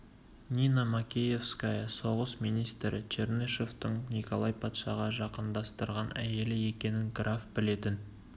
нина макеевская соғыс министрі чернышевтың николай патшаға жақындастырған әйелі екенін граф білетін